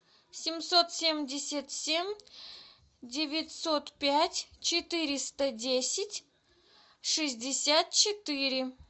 семьсот семьдесят семь девятьсот пять четыреста десять шестьдесят четыре